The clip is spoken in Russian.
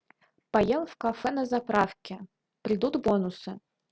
поел в кафе на заправке придут бонусы